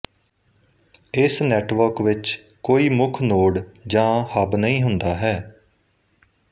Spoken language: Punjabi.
ਇਸ ਨੈੱਟਵਰਕ ਵਿੱਚ ਵਿੱਚ ਕੋਈ ਮੁੱਖ ਨੋਡ ਜਾ ਹਬ ਨਹੀਂ ਹੁੰਦਾ ਹੈ